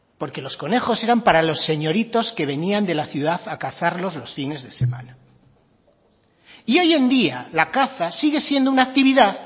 porque los conejos eran para los señoritos que venían de la ciudad a cazarlos los fines de semana y hoy en día la caza sigue siendo una actividad